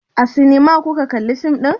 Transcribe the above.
A sinima kuka kalla fim ɗin?